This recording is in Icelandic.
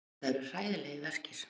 Þetta eru hræðilegir verkir.